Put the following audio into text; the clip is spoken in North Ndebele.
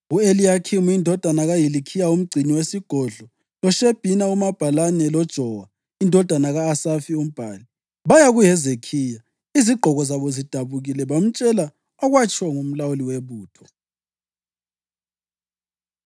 U-Eliyakhimu indodana kaHilikhiya umgcini wesigodlo loShebhina umabhalane loJowa indodana ka-Asafi umbhali, baya kuHezekhiya izigqoko zabo zidabukile bamtshela okwakutshiwo ngumlawuli webutho.